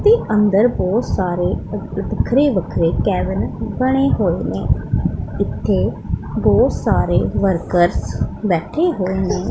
ਤੇ ਅੰਦਰ ਬਹੁਤ ਸਾਰੇ ਵੱਖਰੇ ਵੱਖਰੇ ਕੈਬਿਨ ਬਣੇ ਹੋਏ ਨੇਂ ਇੱਥੇ ਬਹੁਤ ਸਾਰੇ ਵਰਕਰਸ ਬੈਠੇ ਹੋਏ ਨੇਂ।